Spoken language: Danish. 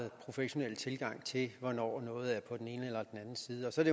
professionel tilgang til hvornår noget er på den anden side og så er